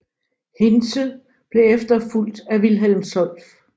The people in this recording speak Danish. Hintze blev efterfulgt af Wilhelm Solf